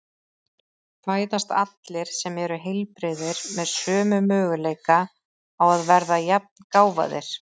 Fæðast allir sem eru heilbrigðir með sömu möguleika á að verða jafngáfaðir?